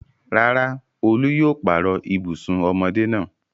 Rárá, Olú yóò pààrọ̀ ibùsùn ọmọdé náà.